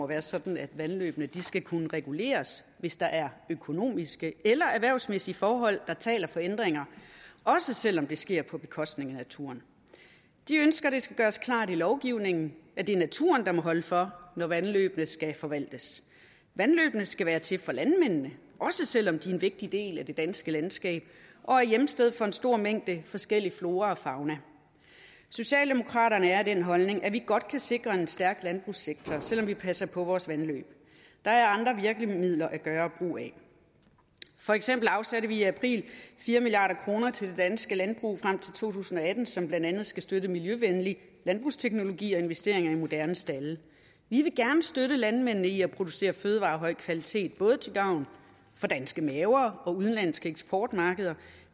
være sådan at vandløbene skal kunne reguleres hvis der er økonomiske eller erhvervsmæssige forhold der taler for ændringer også selv om det sker på bekostning af naturen de ønsker at det skal gøres klart i lovgivningen at det er naturen der må holde for når vandløbene skal forvaltes vandløbene skal være til for landmændene også selv om de er en vigtig del af det danske landskab og er hjemsted for en stor mængde forskellig flora og fauna socialdemokraterne er af den holdning at vi godt kan sikre en stærk landbrugssektor selv om vi passer på vores vandløb der er andre virkemidler at gøre brug af for eksempel afsatte vi i april fire milliard kroner til det danske landbrug frem til to tusind og atten som blandt andet skal støtte miljøvenlig landbrugsteknologi og investeringer i moderne stalde vi vil gerne støtte landmændene i at producere fødevarer af høj kvalitet både til gavn for danske maver og udenlandske eksportmarkeder